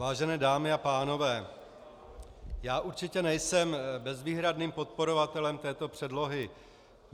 Vážené dámy a pánové, já určitě nejsem bezvýhradným podporovatelem této předlohy.